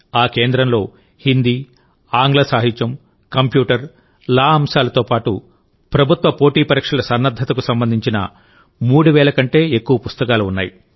ఆ కేంద్రంలో హిందీ ఆంగ్ల సాహిత్యం కంప్యూటర్ లా అంశాలతో పాటు ప్రభుత్వ పోటీ పరీక్షలసన్నద్ధతకు సంబంధించిన 3000 కంటే ఎక్కువ పుస్తకాలు ఉన్నాయి